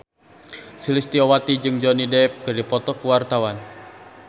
Sulistyowati jeung Johnny Depp keur dipoto ku wartawan